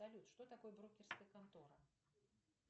салют что такое брокерская контора